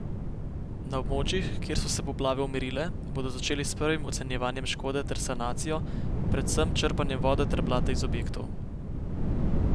Na območjih, kjer so se poplave umirile, bodo začeli s prvim ocenjevanjem škode ter sanacijo, predvsem črpanjem vode ter blata iz objektov.